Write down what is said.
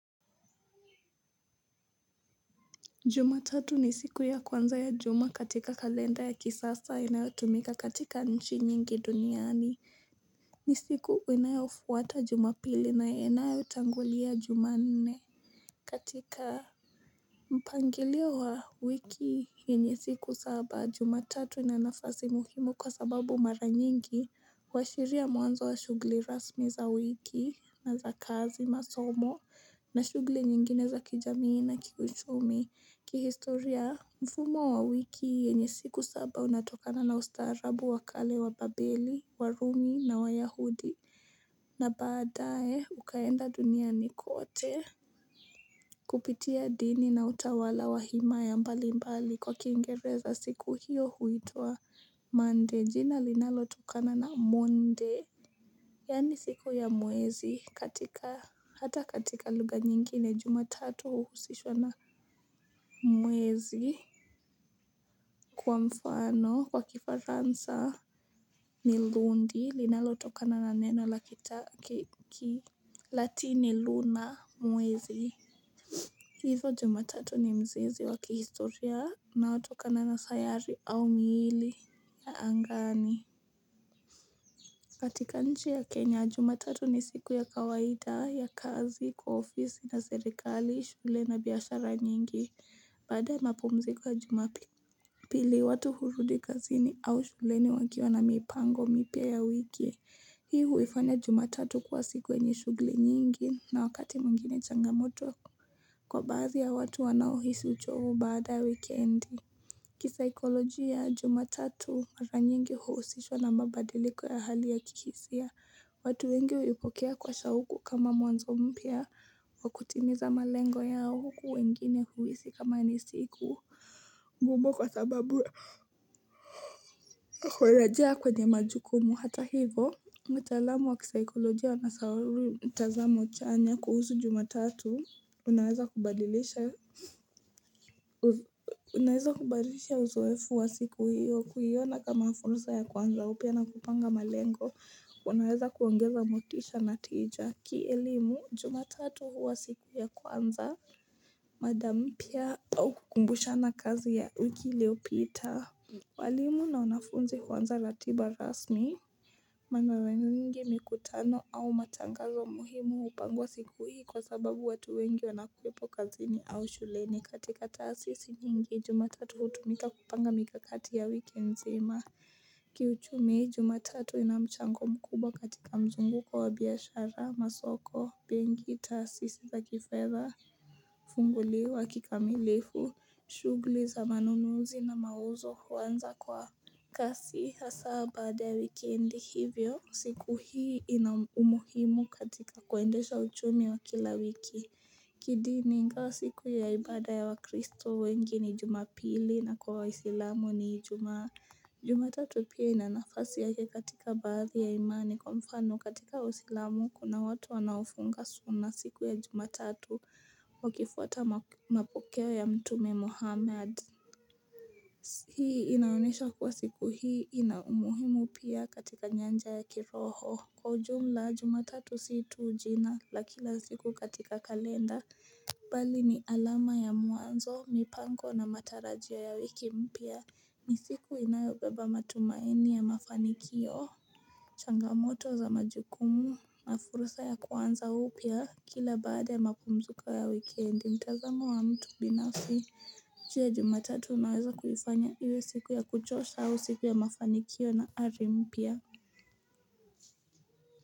Juma tatu ni siku ya kwanza ya juma katika kalenda ya kisasa inayotumika katika nchi nyingi duniani. Ni siku inayofuata jumapili na inayotangulia jumanne katika. Mpangilio wa wiki yenye siku saba jumatatu ina nafasi muhimu kwa sababu mara nyingi huashiria mwanzo wa shughuli rasmi za wiki na za kazi masomo na shughuli nyingine za kijamii na kiuchumi kihistoria, mfumo wa wiki yenye siku saba unatokana na ustaarabu wa kale wa babeli, warumi na wayahudi na baadaye ukaenda duniani kote Kupitia dini na utawala wa himaya mbali mbali kwa kiingereza siku hiyo huituwa Monday, jina linalotokana na monde Yani siku ya mwezi katika hata katika lugha nyingine jumatati huhusishwa na mwezi Kwa mfano, kwa kifaransa ni lundi linalotokana na neno la kita ki Latini luna mwezi. Hivyo jumatatu ni mzizi wa kihistoria unaotokana na sayari au miili ya angani. Katika nchi ya Kenya, jumatatu ni siku ya kawaida ya kazi, kwa ofisi na serikali, shule na biashara nyingi, baada ya mapumziko ya jumapili. Pili watu hurudi kazini au shuleni wakiwa na mipango mipya ya wiki. Hii huifanya jumatatu kuwa siku yenye shughuli nyingi na wakati mwingine changamoto. Kwa baadhi ya watu wanaohisi uchovu baada ya wikendi. Kisaikolojia jumatatu mara nyingi huusishwa na mabadiliko ya hali ya kihisia watu wengi huipokea kwa shauku kama mwanzo mpya wa kutimiza malengo yao huku wengine huhisi kama ni siku kwa sababu kureja kwenye majukumu hata hivo mtaalamu wa kisaikoloji ya unasawari mtazamo chanya kuhusu jumatatu unaweza Unaweza kubadilisha uzoefu wa siku hiyo kuiona kama fursa ya kuanza upya na kupanga malengo unaweza kuongeza motisha na tija. Kielimu jumatatu huwa siku ya kwanza mada mpya au kukumbushana kazi ya wiki iliyopita walimu na wanafunzi huanza ratiba rasmi na Mara nyingi mikutano au matangazo muhimu hupangwa siku hii kwa sababu watu wengi wanakuwepo kazini au shuleni. Katika taasisi nyingi jumatatu hutumika kupanga mikakati ya wiki nzima. Kiuchumi, jumatatu ina mchango mkubwa katika mzunguko wa biashara masoko, benki, taasisi za kifedha hufunguliwa kikamilifu shughuli za manunuzi na mauzo huanza kwa kasi hasa baada ya wikendi hivyo siku hii ina umuhimu katika kuendesha uchumi wa kila wiki kidini ingawa siku ya ibada ya wakristo wengi ni jumapili na kwa waisilamu ni jumatatu pia ina nafasi yake katika baadhi ya imani. Kwa mfano katika waislamu kuna watu wanaofunga suna siku ya jumatatu wakifuata mapokeo ya mtume muhammad Hii inaonesha kuwa siku hii ina umuhimu pia katika nyanja ya kiroho Kwa ujumla jumatatu si tu jina na kila siku katika kalenda Bali ni alama ya mwanzo, mipango na matarajio ya wiki mpya. Ni siku inayobeba matumaini ya mafanikio Changamoto za majukumu na fursa ya kuanza upua Kila baada ya mapumziko ya wikendi mtazamo wa mtu binafsi Je, jumatatu unaweza kuifanya iwe siku ya kuchosha au siku ya mafanikio na ari mpya.